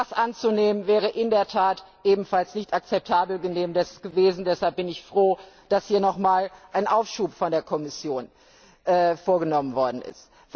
Das anzunehmen wäre in der Tat ebenfalls nicht akzeptabel gewesen. Deshalb bin ich froh, dass hier noch einmal ein Aufschub von der Kommission vorgenommen worden ist.